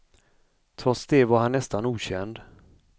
Trots det var han nästan okänd.